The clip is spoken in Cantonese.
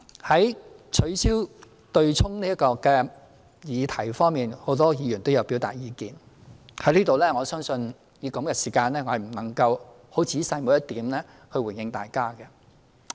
就取消強積金對沖安排這個議題，很多議員也有表達意見，我相信在此我不能以如此有限的時間仔細逐點回應大家。